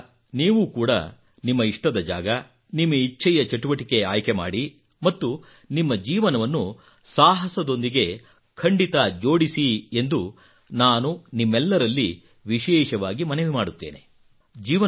ಆದ್ದರಿಂದ ನೀವು ಕೂಡಾ ನಿಮ್ಮ ಇಷ್ಟದ ಜಾಗ ನಿಮ್ಮ ಇಚ್ಛೆಯ ಚಟುವಟಿಕೆ ಆಯ್ಕೆ ಮಾಡಿ ಮತ್ತು ನಿಮ್ಮ ಜೀವನವನ್ನು ಸಾಹಸದೊಂದಿಗೆ ಖಂಡಿತಾಜೋಡಿಸಿ ಎಂದು ನಾನು ನಿಮ್ಮೆಲ್ಲರಲ್ಲಿ ವಿಶೇಷವಾಗಿ ಮನವಿ ಮಾಡುತ್ತೇನೆ